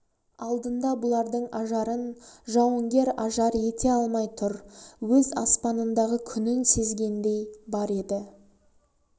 алдында бұлардың ажарын жауынгер ажар ете алмай тұр өз аспанындағы күнін сезгендей бар еді